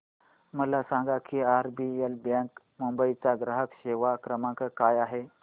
मला सांगा की आरबीएल बँक मुंबई चा ग्राहक सेवा क्रमांक काय आहे